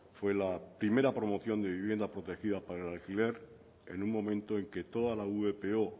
fue la primera promoción de vivienda protegida para el alquiler en un momento en que toda la vpo